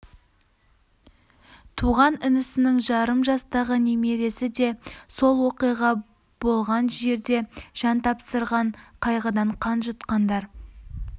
туған інісінің жарым жастағы немересі де сол оқиға болған жерде жан тапсырған қайғыдан қан жұтқандар